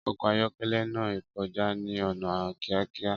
Ọkọ̀ ayọ́kẹ́lẹ́ náà kọjá ní ọ̀nà kíákíá.